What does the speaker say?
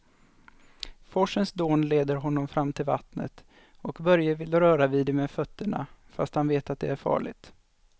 Forsens dån leder honom fram till vattnet och Börje vill röra vid det med fötterna, fast han vet att det är farligt.